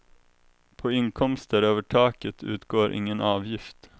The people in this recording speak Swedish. På inkomster över taket utgår ingen avgift.